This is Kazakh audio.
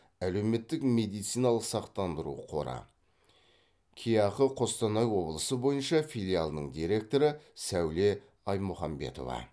әлеуметтік медициналық сақтандыру қоры кеақы қостанай облысы бойынша филиалының директоры сәуле аймұхамбетова